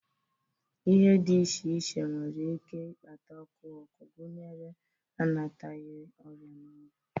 Ihe dị iche iche nwere ike ịkpata ọkụ ọkụ, gụnyere anataghi, ọrịa na ọgwụ